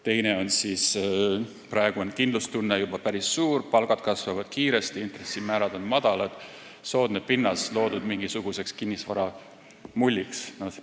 Teiseks, praegu on kindlustunne juba päris suur, palgad kasvavad kiiresti, intressimäärad on madalad – on soodne pinnas kinnisvaramulliks.